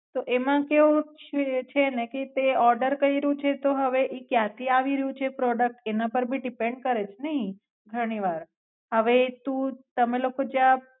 તો આમા કેવો છે છે ને કે તે ઓર્ડર કાયરો છે તો ઈ કાયા થી એવી રહ્યુંછે પ્રોડુક્ટ એનાપર ભી ડીપેન કરેછ ને ઈ ઘની વારહવે તું તમે લોકો જ્યાં.